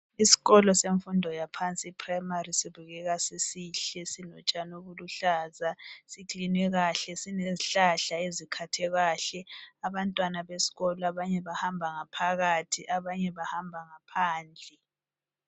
Isikolo semfundo yaphansi iprimary sibukeka sisihle sinotshani obuluhlaza, siklinwe kahle. Sinezihlahla ezikhathwe kahle. Abantwana besikolo abanye bahamba ngaphakathi abanye bahamba ngaphandle